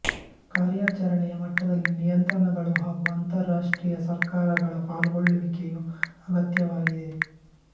ಕಾರ್ಯಾಚರಣೆಯ ಮಟ್ಟದಲ್ಲಿ ನಿಯಂತ್ರಣಗಳು ಹಾಗೂ ಅಂತರರಾಷ್ಟ್ರೀಯ ಸರ್ಕಾರಗಳ ಪಾಲ್ಗೊಳ್ಳುವಿಕೆಯು ಅಗತ್ಯವಾಗಿದೆ